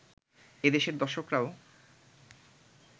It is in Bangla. এদেশের দর্শকরাও